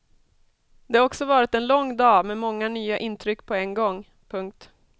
Det har också varit en lång dag med många nya intryck på en gång. punkt